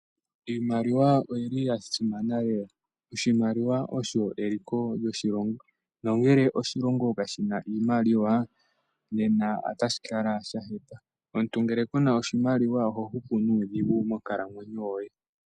Iimaliwa oyi li ya simana lela. Oshimaliwa osho eliko lyoshilongo nongele oshilongo kashi na oshimaliwa nena otashi kala sha hepa. Omuntu ngele ke na oshimaliwa oha hupu nuudhigu monkalamwenyo.